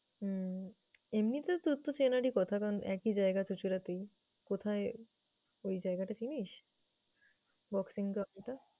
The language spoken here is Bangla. হুম এমনিতে তোর তো চেনারই কথা কারণ একই জায়গাতে । কোথায় ওই জায়গাটা চিনিস? boxing ground টা?